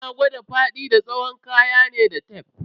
Ana kwada faɗi da tsawon kaya ne da tef.